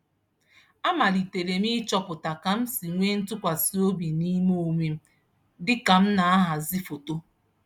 Amaliterem ịchọpụta ka msi nwee ntukwasi obi n'ime onwem, dịka m nahazi foto